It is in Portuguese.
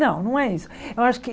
Não, não é isso. eu acho que